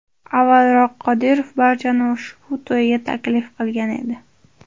Avvalroq, Qodirov barchani ushbu to‘yga taklif qilgan edi.